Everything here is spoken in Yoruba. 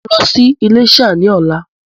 Mo ń lọ sí ilésà ni ọ̀la